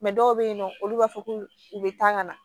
dɔw bɛ yen nɔ olu b'a fɔ k'u bɛ taa ka na